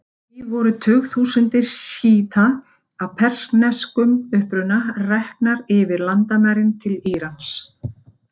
Því voru tugþúsundir sjíta af persneskum uppruna reknar yfir landamærin til Írans.